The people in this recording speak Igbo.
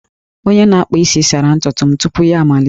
Onye na-akpa isi sara ntutu m tupu ya amalite